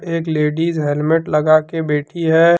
एक ladies helmet लगा के बैठी है।